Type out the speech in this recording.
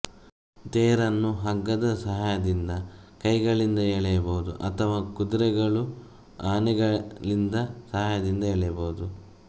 ತೇರನ್ನು ಹಗ್ಗದ ಸಹಾಯದಿಂದ ಕೈಗಳಿಂದ ಎಳೆಯಬಹುದು ಅಥವಾ ಕುದುರೆಗಳು ಆನೆಗಳಿಂದ ಸಹಾಯದಿಂದ ಎಳೆಯಬಹುದು